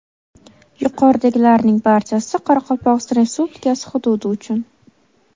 Yuqoridagilarning barchasi Qoraqalpog‘iston Respublikasi hududi uchun.